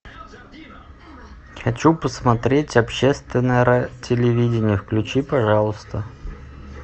хочу посмотреть общественное телевидение включи пожалуйста